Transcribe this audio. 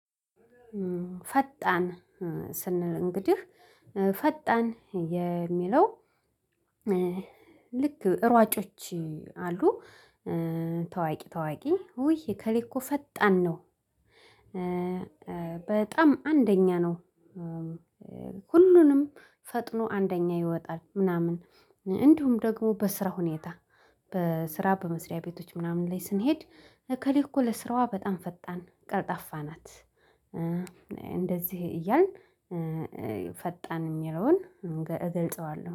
ፈጣን ስንል እንግዲህ ፈጣን የሚለው ልክ ሯጮች አሉ ታዋቂ ታዋቂ ዉይ እከሌ እኮ ፈጣን ነው። በጣም አንደኛ ነው። ሁሉንም ፈጥኖ አንደኛ ይወጣል ምናምን እንዲሁም ደግሞ በስራ ሁኔታ በስራ በመስሪያ ቤቶች ምናምን ላይ ስንሄድ እከሌ እኮ ለስራዋ በጣም ፈጣን ቀልጣፍ ናት። እንደዚህ እያልን ፈጣን የሚለውን እገልጸዋለሁ